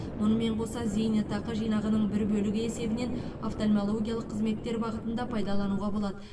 мұнымен қоса зейнетақы жинағының бір бөлігі есебінен офтальмологиялық қызметтер бағытында пайдалануға болады